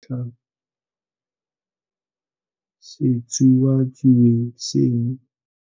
Re tla se sutlha setsuatsue seno.